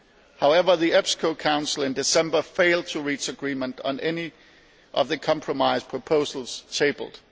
However, the EPSCO Council in December failed to reach agreement on any of the compromise proposals tabled.